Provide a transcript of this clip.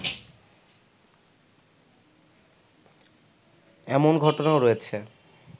এমন ঘটনাও রয়েছে